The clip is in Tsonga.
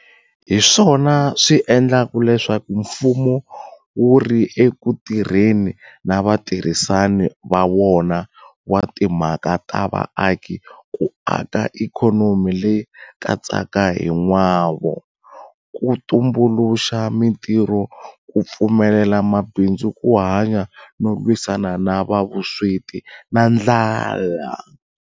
Hiswona swi endlaka leswaku mfumo wu ri eku tirheni na vatirhisani va wona wa timhaka ta vaaki ku aka ikhonomi leyi katsaka hi n'wavo, ku tumbuluxa mitirho, ku pfumelela mabindzu ku hanya no lwisana na vusweti na ndlala.